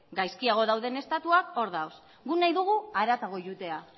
gaizkiago dauden estatuak hor daude guk nahi dugu haratago joatea